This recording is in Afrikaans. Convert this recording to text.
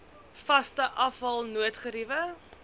vaste afval noodgeriewe